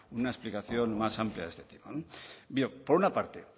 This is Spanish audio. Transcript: una explicación más amplia de este tema no por una parte